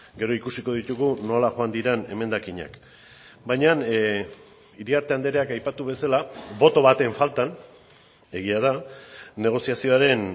gero ikusiko ditugu nola joan diren emendakinak baina iriarte andreak aipatu bezala boto baten faltan egia da negoziazioaren